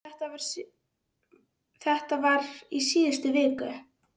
Þetta var í síðustu viku.